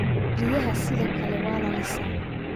riyaha sidoo kale waa la lisaa